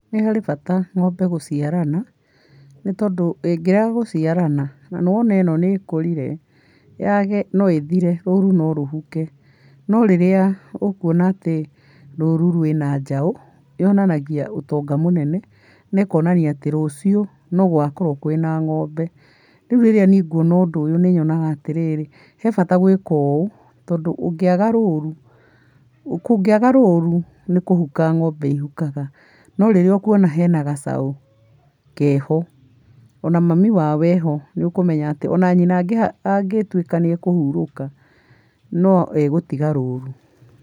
Nĩ harĩ bata ng'ombe gũciarana nĩ tondũ ingĩrega gũciarana na nĩwona ĩno nĩĩkũrire, yage no ĩthire rũru no rũhuke. No rĩrĩa ũkũona atĩ rũru rwĩ na njaũ, nyonanagia ũtonga mũnene na ĩkonania atĩ rũciũ, no gũgakorwo kwĩ na ng'ombe, niĩ rĩrĩ nguona ũndũ ũyũ nĩnyona atĩrĩrĩ, he bata gwĩka ũũ tondũ ũngĩaga rũru kũngĩaga rũru nĩkũhuka ng'ombe ihukaga, no rĩu rĩrĩa ũkuona kwĩ na gacaũ ke ho na mami wa o e ho nĩũkũmenya atĩ o na nyina angĩtuĩka nĩekũhurũka no egũtiga rũru.